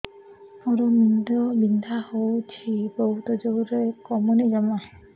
ମୋର ମୁଣ୍ଡ ବିନ୍ଧା ହଉଛି ବହୁତ ଜୋରରେ କମୁନି ଜମା